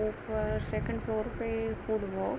ऊपर second floor पे food book --